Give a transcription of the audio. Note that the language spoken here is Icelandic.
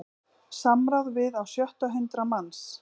Samráð við á sjötta hundrað manns